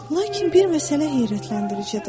Lakin bir məsələ heyrətləndiricidir.